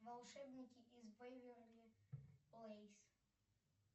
волшебники из беверли плэйс